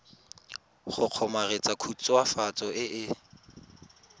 go kgomaretsa khutswafatso e e